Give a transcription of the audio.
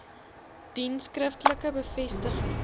dien skriftelike bevestiging